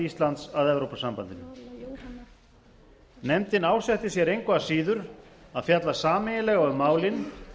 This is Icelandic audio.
íslands að evrópusambandinu nefndin ásetti sér engu að síður að fjalla sameiginlega um málin